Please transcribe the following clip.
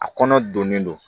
A kɔnɔ donnen don